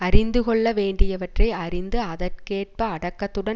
அறிந்து கொள்ள வேண்டியவற்றை அறிந்து அதற்கேற்ப அடக்கத்துடன்